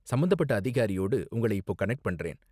சம்பந்தப்பட்ட அதிகாரியோடு உங்களை இப்போ கனெக்ட் பண்றேன்.